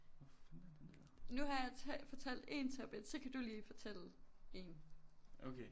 Nu har jeg fortalt én topic så kan du lige fortælle én